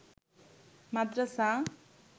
মাদ্রাসা